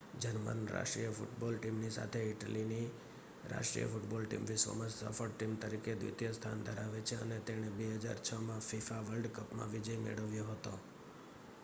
German રાષ્ટ્રીય football ટીમની સાથે ઇટલીની રાષ્ટ્રીય ફૂટબૉલ ટીમ વિશ્વમાં સફળ ટીમ તરીકે દ્વિતીય સ્થાન ધરાવે છે અને તેણે 2006માં fifa વર્લ્ડ કપમાં વિજય મેળવ્યો હતો